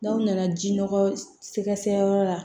N'aw nana ji nɔgɔ sɛgɛsɛgɛ yɔrɔ la